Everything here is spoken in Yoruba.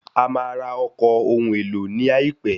A máa ra ọkọ̀ ohun èlò ní àìpé.